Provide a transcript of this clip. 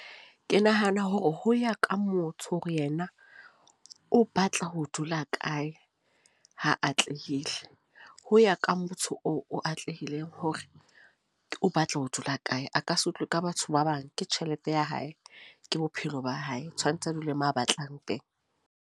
Ke nahana hore ho ya ka motho, hore yena o batla ho dula kae, ha atlehile. Ho ya ka motho oo o atlehileng, hore o batla ho dula kae. A ka se utlwe ka batho ba bang. Ke tjhelete ya hae, ke bophelo ba hae. Tshwanetse a dule mo a batlang teng.